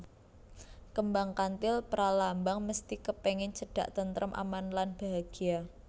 Kembang Kantil pralambang mesthi kepengen cedak tentrem aman lan bahagya